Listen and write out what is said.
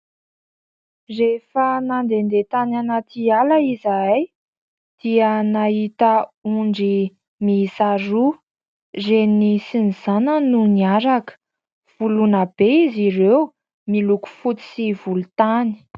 Rehefa mandehandeha tany anaty ala izahay dia nahita ondry miisa roa, reniny sy ny zanany no niaraka. Voloina be izy ireo, miloko fotsy sy volontany.